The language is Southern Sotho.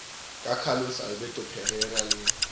ke carlos alberto parreira le